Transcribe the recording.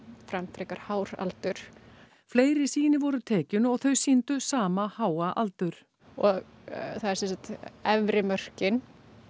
frekar hár aldur fleiri sýni voru tekin og þau sýndu sama háa aldur og það er sem sagt efri mörkin